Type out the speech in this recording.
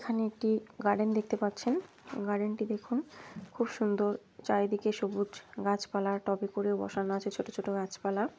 এখানে একটি গার্ডেন দেখতে পাচ্ছেন। গার্ডেন -টি দেখুন খুব সুন্দর চারিদিকে সবুজ গাছপালা টবে করে বসানো আছে ছোট ছোট গাছপালা।